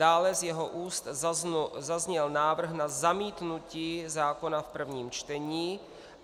Dále z jeho úst zazněl návrh na zamítnutí zákona v prvním čtení.